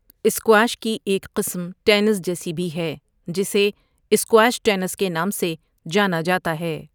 Squash کی ایک قسم ٹینس جیسی بھی ہے جسے سکواش ٹینس کے نام سے جانا جاتا ہے۔